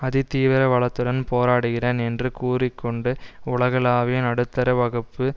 அதிதீவிர வலதுடன் போராடுகிறேன் என்று கூறி கொண்டு உலகளாவிய நடுத்தரவகுப்பு